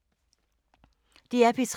DR P3